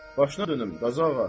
Başına dönüm, Qazı ağa.